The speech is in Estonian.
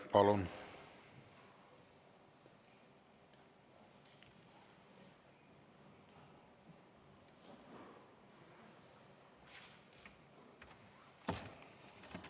Palun!